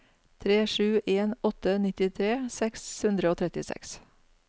tre sju en åtte nittitre seks hundre og trettiseks